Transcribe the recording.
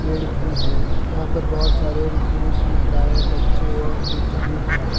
भीड़ भी है यहां पर बहोत सारे पुरुष महिलाएं बच्चे एवं वृद्ध भी हैं।